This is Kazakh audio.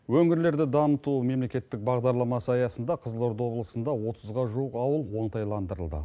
өңірлерді дамыту мемлекеттік бағдарламасы аясында қызылорда облысында отызға жуық ауыл оңтайландырылды